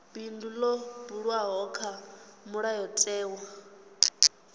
bindu ḽo buliwaho kha mulayotewa